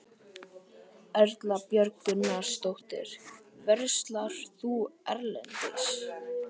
Erla Björg Gunnarsdóttir: Verslar þú erlendis?